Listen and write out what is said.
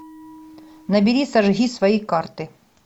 набери сожги свои карты